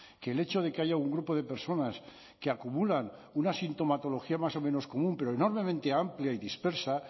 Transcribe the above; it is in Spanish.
que el hecho de que haya un grupo de personas que acumulan una sintomatología más o menos común pero enormemente amplia y dispersa